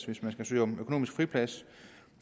hvis man skal søge om økonomisk friplads